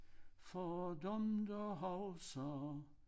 For dem der husker